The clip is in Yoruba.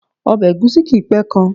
Obè ègúsí kìí pé kan